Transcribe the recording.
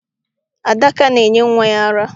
Adaka na-enye nwa ya ara.